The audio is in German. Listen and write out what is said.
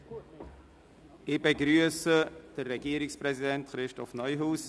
Ich begrüsse Regierungspräsident Christoph Neuhaus.